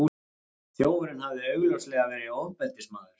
Þjófurinn hafði augljóslega verið ofbeldismaður.